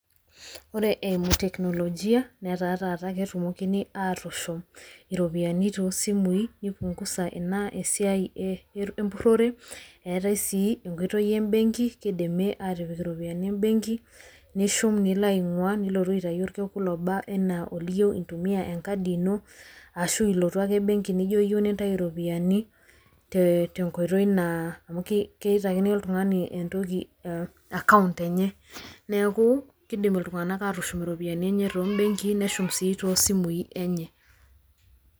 ore eimu teknolojia netaa taata ketumokini aatushum iropiyiani too simui nipungusa ina esiai empurore, eetae sii enkoitoi ebenki, kidimi aatipik ioiyiani ebenki, nishum nilo ainguaa, nilotu aitayu orkekun oba anaa oliyieu intumia enkadi ino. ashu ilotu ake benki nijo iyieu nintayu iropiyiani.te nkoitoi te nkoitoi naa, amu kitaikini oltungani account enye neeku kidim oltunganak aatushum iropiyiani enye too simui enye neshum sii too mbekii enye.